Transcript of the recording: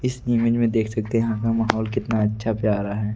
इस इमेज में देख सकते हैं माहौल कितना अच्छा प्यारा है ।